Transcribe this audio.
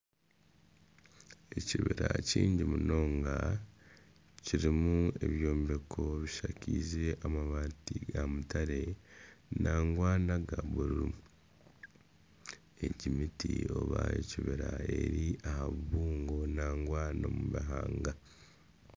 Ekibira kihango munonga kirimu ebyombeko bishakaize amabaati ga mutare nangwa naga bururu egi miti oba ebibira eri aha bibuungo nangwa n'omubihanga